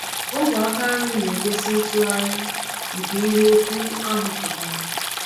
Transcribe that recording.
Ogwe aka nri na-egosi ntụgharị nke nke ihe okwu ahụ pụtara.